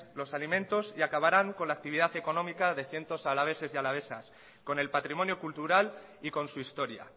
los alimentos y acabarán con la actividad económica de cientos alaveses y alavesas con el patrimonio cultural y con su historia